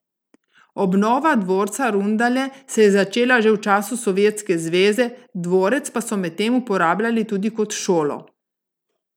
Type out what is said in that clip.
Obnova dvorca Rundale se je začela že v času Sovjetske zveze, dvorec pa so medtem uporabljali tudi kot šolo.